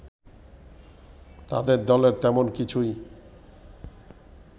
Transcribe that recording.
তাদের দলের তেমন কিছুই